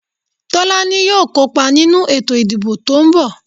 Tolaní yóò kó pa ninu eto ìdíbò to n bò.